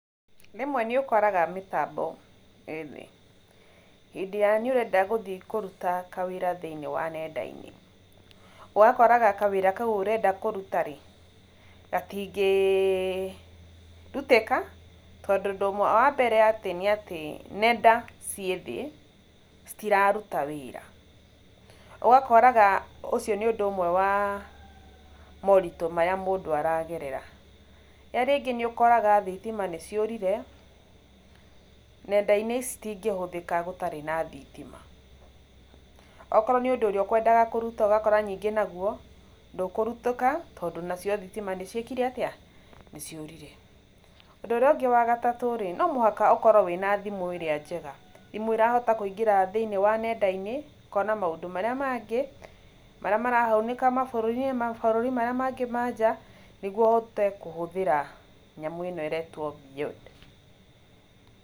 Rĩmwe nĩ ũkoraga mĩtambo ĩĩthĩ, hĩndĩ ĩyo nĩ ũrenda gũthiĩ kũruta wĩra thĩinĩ wa nenda-inĩ, ũgakoraga kawĩra kau ũrenda kũruta rĩ gatingĩĩ rutĩka tondũ ũndũ ũmwe wa mbere nĩ atĩ nenda ciĩ thĩ citiraruta wĩra ũgakoraga ũcio nĩ ũndũ ũmwe wa moritũ marĩa mũndũ aragerera ee rĩngĩ nĩ ũkoraga thitima nĩ ciũrire nenda-inĩ ici itingĩhũthĩka gũtarĩ na thitima, okorwo nĩ ũndũ ũrĩa ũkwendaga kũruta ũgakora ningĩ naguo ndũkũrutĩka tondũ nacio thitima nĩ ciĩkire atĩa, nĩciũrire, ũndũ ũrĩa ũngĩ wagatatũ rĩ no mũhaka ũkorwo na thimũ ĩrĩa njega, thimũ ĩrĩa ĩrahota kũingĩra thĩinĩ wa nenda-inĩ ũkona maũndũ marĩa mangĩ marĩa marahanĩka mabũrũri-inĩ, mabũrũri-inĩ marĩa mangĩ na nja nĩguo ũhote kũhothĩra nyamũ ĩno ĩretwo BYOD .